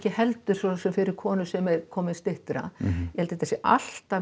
heldur fyrir konur sem eru komnar styttra ég held þetta sé alltaf